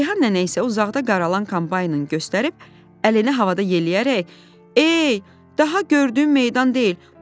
Reyhan nənə isə uzaqda qaralan kombaynın göstərib, əlini havada yeləyərək, ey, daha gördüyüm meydan deyil.